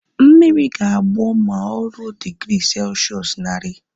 Mmiri ga-agbọ ma o ruo digri selshụs naari